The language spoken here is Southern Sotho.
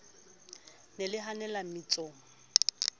le ne le hanella mmetsong